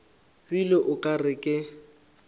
bile o ka re ke